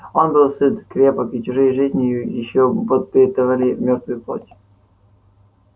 он был сыт крепок и чужие жизни ещё подпитывали мёртвую плоть